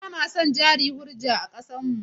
Ba ma son jari hujja a ƙasarmu.